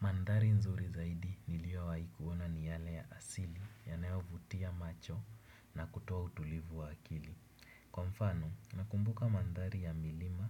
Mandari nzuri zaidi niliyowaikuona ni yale ya asili yanayovutia macho na kutoa utulivu wa akili. Kwa mfano, nakumbuka manthari ya milima